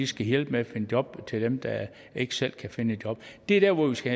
skal hjælpe med at finde job til dem der ikke selv kan finde et job det er der hvor vi skal